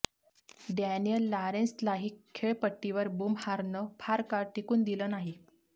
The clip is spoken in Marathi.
डॅनिअल लारेंसलाही खेळपट्टीवर बुमहारनं फार काळ टीकून दिलं नाही